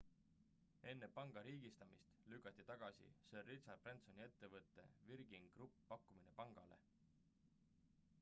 enne panga riigistamist lükati tagasi sir richard bransoni ettevõtte virgin group pakkumine pangale